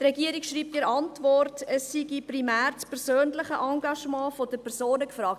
Die Regierung schreibt in der Antwort, es sei primär das persönliche Engagement der Personen gefragt.